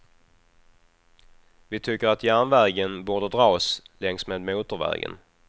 Vi tycker att järnvägen borde dras längs med motorvägen.